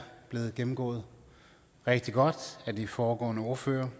blevet gennemgået rigtig godt af de foregående ordførere